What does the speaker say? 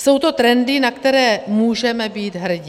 Jsou to trendy, na které můžeme být hrdi.